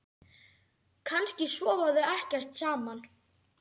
Kannski sofa þau ekkert saman?